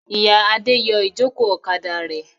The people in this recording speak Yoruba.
Ìyá Adé yọ ìjókòó ọ̀kadà rẹ̀.